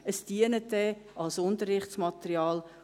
Es dient dann als Unterrichtsmaterial.